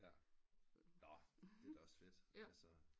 Nå ja det er da også fedt